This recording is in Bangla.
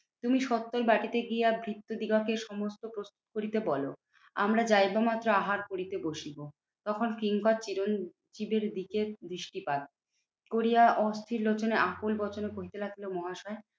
তুমি সত্তর বাটিতে গিয়া ভৃত্য দিগকে সমস্ত প্রস্তুত করিতে বলো। আমরা যাইবা মাত্র আহার করিতে বসিব। তখন কিঙ্কর চিরঞ্জিতের দিকে দৃষ্টিপাত করিয়া অস্থির লোচনে আকুল বচনে কহিতে লাগিল, মহাশয়